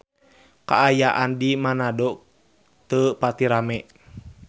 Kaayaan di Manado teu pati rame